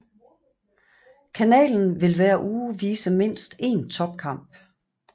Kanalen vil hver uge vise mindst én topkamp